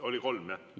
Oli kolm, jah?